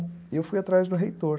E eu fui atrás do reitor.